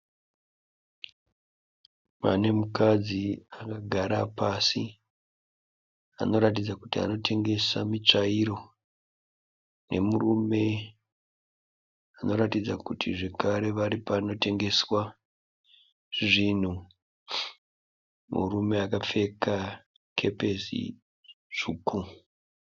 Pane mukadzi akagara pasi anoratidza kuti anotengesa mitsvairo. Ne murume anoratidza kuti zvakare ari panotengeswa zvinhu. Murume akapfeka kepesi tsvuku.